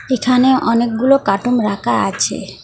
এখানে অনেকগুলো কার্টুন রাখা আছে।